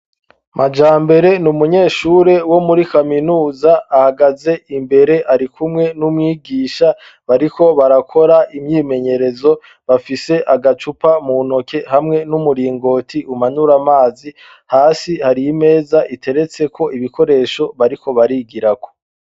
Majambere n'umunyeshure wo muri kaminuza, ahagaze imbere arikumwe n'umwigisha bariko barakora imyimenyerezo, bafise agacupa mu ntoke hamwe n'umuringoti umanura amazi, hasi hari imeza igeretseko ibikoresho bariko barigirako.